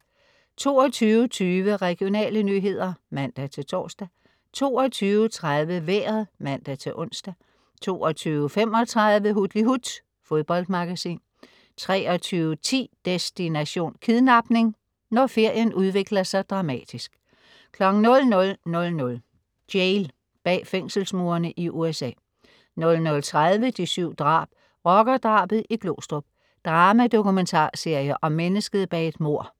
22.20 Regionale nyheder (man-tors) 22.30 Vejret (man-ons) 22.35 Hutlihut. Fodboldmagasin 23.10 Destination: Kidnapning. Når ferien udvikler sig dramatisk 00.00 Jail. Bag fængselsmurene i USA 00.30 De 7 drab. Rockerdrabet i Glostrup. Drama-dokumentarserie om mennesket bag et mord